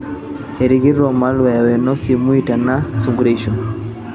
erikito malwea weno simui teina sunkureisho.